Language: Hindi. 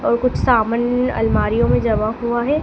और कुछ सामन अलमारीयों में जमा हुआ है।